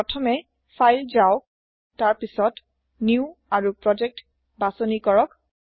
প্ৰথমে ফাইল যাওক তাৰ পিছত নিউ আৰু প্ৰজেক্ট বাচনি কৰক